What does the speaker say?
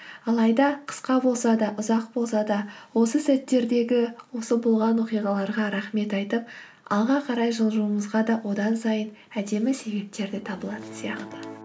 алайда қысқа болса да ұзақ болса да осы сәттердегі осы болған оқиғаларға рахмет айтып алға қарай жылжуымызға да одан сайын әдемі себептер де табылатын сияқты